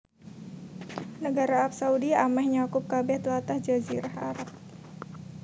Nagara Arab Saudi amèh nyakup kabèh tlatah Jazirah Arab